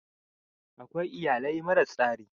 Akwai iyalai mara tsari.